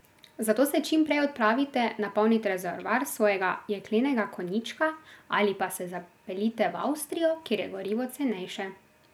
Zato se čim prej odpravite napolnit rezervoar svojega jeklenega konjička ali pa se zapeljite v Avstrijo, kjer je gorivo cenejše.